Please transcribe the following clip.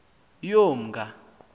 yomnga